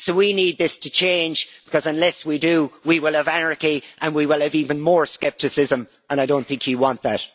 So we need this to change because unless we do we will have anarchy and we will have even more scepticism and I do not think you want that.